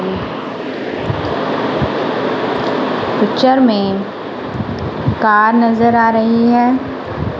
Picture में car नज़र आ रही है।